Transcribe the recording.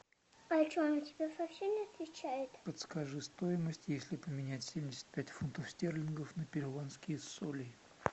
подскажи стоимость если поменять семьдесят пять фунтов стерлингов на перуанские соли